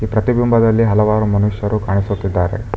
ಪ್ರತಿ ಬಿಂಬದಲ್ಲಿ ಹಲವರು ಮನುಷ್ಯರು ಕಾಣುತ್ತಿದ್ದಾರೆ.